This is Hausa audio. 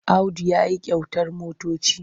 Audu ya yi kyautar motoci.